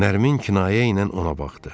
Nərmin kinayə ilə ona baxdı.